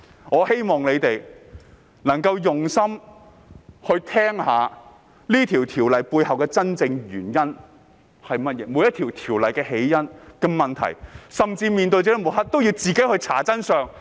我希望大家用心聆聽《條例草案》背後的真正原因、每項條例的起因，甚至在面對抹黑時，也要自行查找真相。